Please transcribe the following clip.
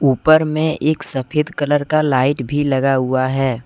ऊपर में एक सफेद कलर का लाइट भी लगा हुआ है।